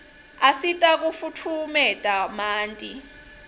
asita kufutfumeta manti